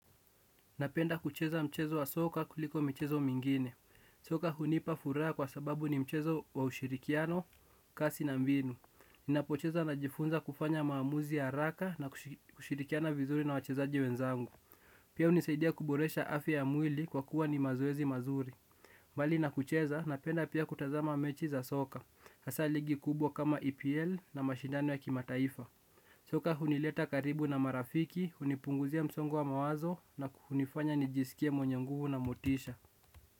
Napenda kucheza mchezo wa soka kuliko mchezo mingine. Soka hunipa furaha kwa sababu ni mchezo wa ushirikiano, kasi na mbinu. Ninapocheza najifunza kufanya maamuzi haraka na kushirikiana vizuri na wachezaji wenzangu. Pia hunisaidia kuboresha afya mwili kwa kuwa ni mazoezi mazuri. Mbali na kucheza napenda pia kutazama mechi za soka. Hasa ligi kubwa kama EPL na mashindano ya kimataifa. Soka hunileta karibu na marafiki, hunipunguzia msongo wa mawazo na hunifanya nijisikie mwenye nguvu na motisha.